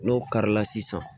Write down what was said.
N'o karila sisan